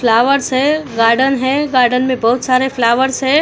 Flowers है garden है garden में बहुत सारे फ्लावर्स है।